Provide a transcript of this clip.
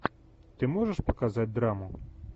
ты можешь показать драму